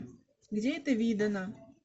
где это видано